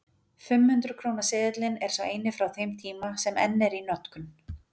Fimm hundruð krónu seðillinn er sá eini frá þeim tíma sem enn er í notkun.